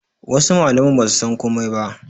Wasu mallaman basu san komai ba